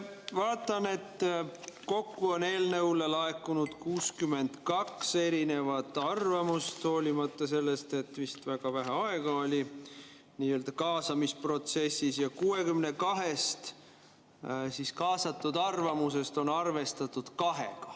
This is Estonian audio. Vaatan, et kokku on eelnõu kohta laekunud 62 erinevat arvamust, hoolimata sellest, et nii-öelda kaasamisprotsessis vist oli vist väga vähe aega, ja 62 arvamusest on arvestatud kahte.